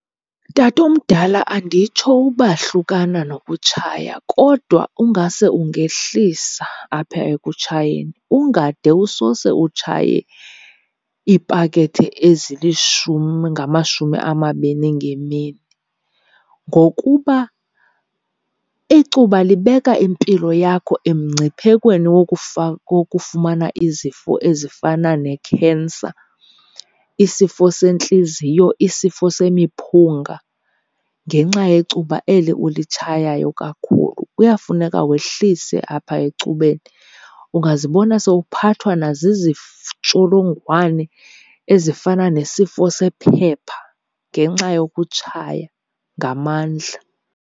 Tatomdala, anditsho uba hlukana nokutshaya kodwa ungase ungehlisa apha ekutshayeni ungade usose utshaye iipakethe ezilishumi, ngamashumi amabini ngemini. Ngokuba icuba libeka impilo yakho emngciphekweni wokufumana izifo ezifana nekhensa, isifo sentliziyo, isifo semiphunga, ngenxa yecuba eli ulitshayayo kakhulu. Kuyafuneka wehlise apha ecubeni, ungazibona sowuphathwa ntsholongwane ezifana nesifo sephepha ngenxa yokutshaya ngamandla.